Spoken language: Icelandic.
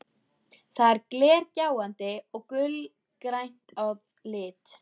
Það er glergljáandi og gulgrænt að lit.